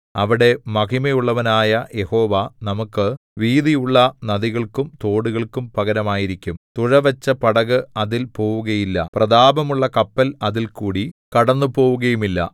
അവിടെ മഹിമയുള്ളവനായ യഹോവ നമുക്കു വീതിയുള്ള നദികൾക്കും തോടുകൾക്കും പകരമായിരിക്കും തുഴവച്ച പടക് അതിൽ പോവുകയില്ല പ്രതാപമുള്ള കപ്പൽ അതിൽകൂടി കടന്നുപോവുകയുമില്ല